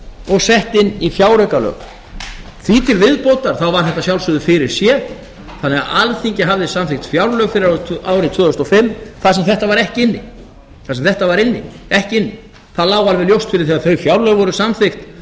og sett inn í fjáraukalög því til viðbótar var þetta að sjálfsögðu fyrirséð þannig að alþingi hafði samþykkt fjárlög fyrir árið tvö þúsund og fimm þar sem þetta var ekki inni það lá alveg ljóst fyrir þegar þau fjárlög voru samþykkt